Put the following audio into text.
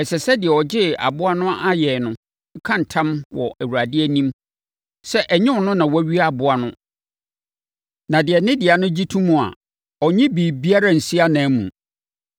ɛsɛ sɛ deɛ ɔgyee aboa no ayɛn no ka ntam wɔ Awurade anim sɛ ɛnyɛ ɔno na wawia aboa no na deɛ ne dea no gye to mu a, ɔnnye biribiara nsi ananmu.